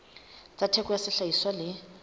tsa theko ya sehlahiswa le